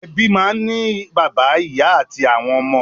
Ebi máa n ni bàbá, ìyá ati àwọn ọmọ.